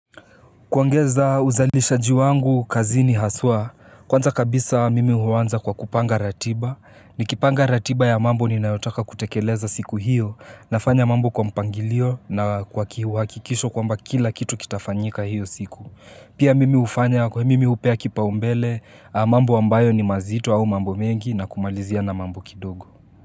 Kuongeza uzalishaji wangu kazini haswa, kwanza kabisa mimi huanza kwa kupanga ratiba, nikipanga ratiba ya mambo ninayotaka kutekeleza siku hiyo, nafanya mambo kwa mpangilio na kwa kiuhakikisho kwamba kila kitu kitafanyika hiyo siku. Pia mimi hufanya kwa mimi hupea kipaumbele, mambo ambayo ni mazito au mambo mengi na kumalizia na mambo kidogo.